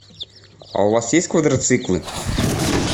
а у вас есть квадроциклы